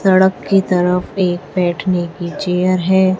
सड़क की तरफ एक बैठने की चेयर है।